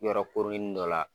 Yɔrɔ kooronin dɔ la.